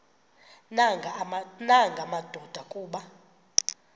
nanga madoda kuba